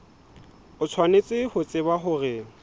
o tshwanetse ho tseba hore